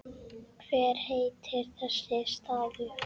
Hver heitir þessi staður?